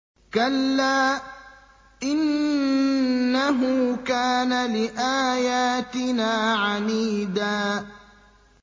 كَلَّا ۖ إِنَّهُ كَانَ لِآيَاتِنَا عَنِيدًا